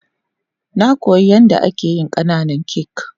Na koya yan da ake yin kananan kak.